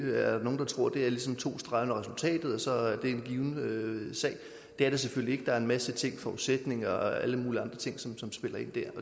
er nogle der tror at økonomi er ligesom to streger under resultatet og så er det en given sag det er det selvfølgelig ikke der er en masse forudsætninger og alle mulige andre ting som som spiller ind dér